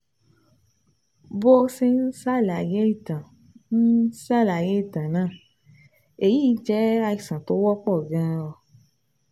Bó o ṣe ń ṣàlàyé ìtàn ń ṣàlàyé ìtàn náà, èyí jẹ́ àìsàn tó wọ́pọ̀ gan-an